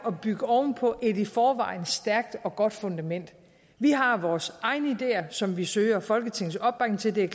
at bygge oven på et i forvejen stærkt og godt fundament vi har vores egne ideer som vi søger folketingets opbakning til det er